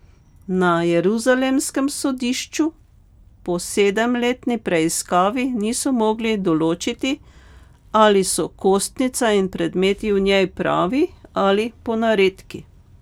Na jeruzalemskem sodišču po sedemletni preiskavi niso mogli določiti, ali so kostnica in predmeti v njej pravi ali ponaredki.